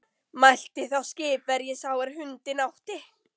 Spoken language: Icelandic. Mælti þá skipverji sá er hundinn átti